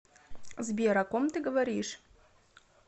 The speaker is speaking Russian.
сбер о ком ты говоришь